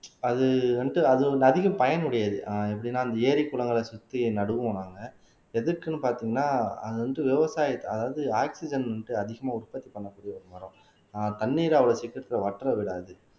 அது வந்துட்டு அது வந்து அதிக பயனுடையது ஆஹ் எப்படின்னா அந்த ஏரி குளங்களை சுத்தி நடுவோம் நாங்க எதுக்குன்னு பார்த்தீங்கன்னா அது வந்து விவசாய அதாவது ஆக்ஸிஜன் வந்து அதிகமா உற்பத்தி பண்ணக்கூடிய ஒரு மரம் ஆஹ் தண்ணீர் அவ்வளவு சீக்கிரத்திலே வற்ற விடாது